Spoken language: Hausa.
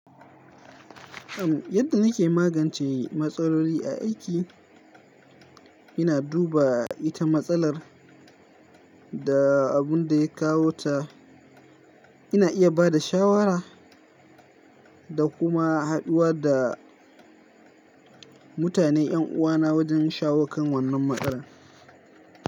Yadda nake magance matsaloli a aiki, ina duba ita matsalar da abun da ya kawo ta. Ina iya ba da shawara da kuma haɗuwa da mutane yan uwana wajen shawo kan wannan matsalar.